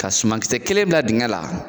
Ka sumankisɛ kelen dan dingɛ la